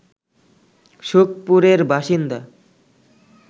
সুখপুরের বাসিন্দা